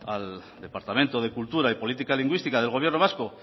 al departamento de cultura y política lingüística del gobierno vasco